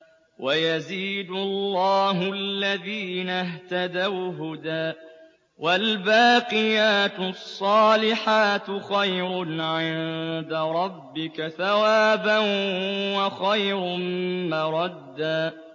وَيَزِيدُ اللَّهُ الَّذِينَ اهْتَدَوْا هُدًى ۗ وَالْبَاقِيَاتُ الصَّالِحَاتُ خَيْرٌ عِندَ رَبِّكَ ثَوَابًا وَخَيْرٌ مَّرَدًّا